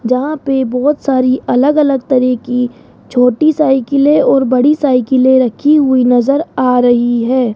जहां पे बहुत सारी अलग अलग तरह की छोटी साइकिले और बड़ी साइकिले रखी हुई नज़र आ रही है।